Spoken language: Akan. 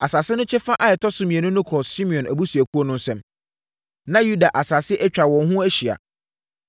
Asase no kyɛfa a ɛtɔ so mmienu no kɔɔ Simeon abusuakuo no nsam. Na Yuda asase atwa wɔn ho ahyia.